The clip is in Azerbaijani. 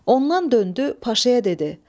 Ondan döndü, paşaya dedi: